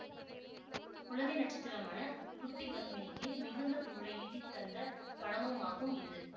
குழந்தை நட்சத்திரமான குட்டி பத்மினிக்கு மிகுந்த புகழை ஈட்டித்தந்த படமுமாகும் இது